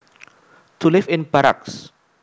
To live in barracks